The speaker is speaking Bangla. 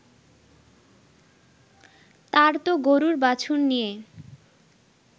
তার তো গরুর বাছুর নিয়ে